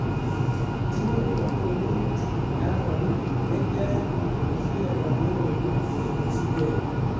kinyoru kampunit nyeranee ne kiyai kobechigei kandoik kobechi gei